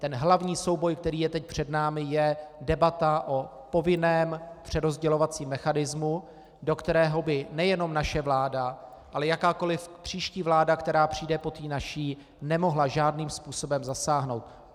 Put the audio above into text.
Ten hlavní souboj, který je teď před námi, je debata o povinném přerozdělovacím mechanismu, do kterého by nejenom naše vláda, ale jakákoli příští vláda, která přijde po té naší, nemohla žádným způsobem zasáhnout.